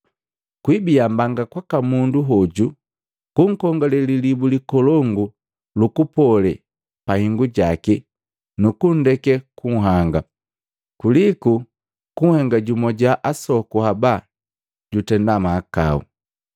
Kwiibia mbanga kwaka mundu hoju kunkongale lilibu likolongu lukupole pahingujaki nukundeke gunhanga, kuliku kunhenga jumwa jwa asoku haba jutenda mmahakau.